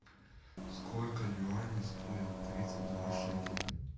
сколько юаней стоит тридцать два шекеля